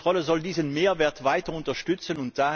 Die Kontrolle soll diesen Mehrwert weiter unterstützen.